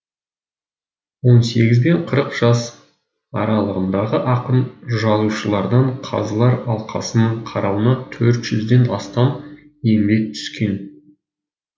он сегіз бен қырық жас аралығындағы ақын жазушылардан қазылар алқасының қарауына төрт жүзден астам еңбек түскен